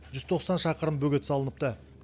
жүз тоқсан шақырым бөгет салыныпты